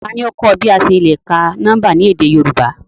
Tani o kọ ọ bi a ṣe le ka nọmba ni édé Yorùbá?